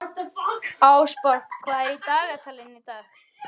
Ásborg, hvað er á dagatalinu í dag?